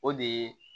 O de ye